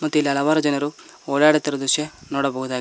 ಮತ್ತು ಇಲ್ಲಿ ಹಲವಾರು ಜನರು ಓಡಾಡುತ್ತಿರುವ ದೃಶ್ಯ ನೋಡಬಹುದಾಗಿದೆ.